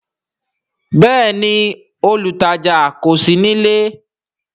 Bẹẹni, olutaja kò sí nílé